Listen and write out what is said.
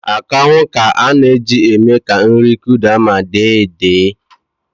Akanwụ ka a na-eji eme ka nri Kụda ma dee edee